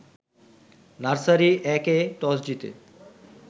nursery ১-এ toss জিতে